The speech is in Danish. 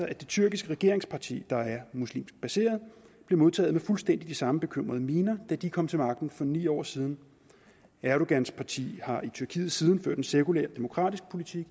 det tyrkiske regeringsparti der er muslimsk baseret blev modtaget med fuldstændig de samme bekymrede miner da de kom til magten for ni år siden erdogans parti har i tyrkiet siden ført en sekulær demokratisk politik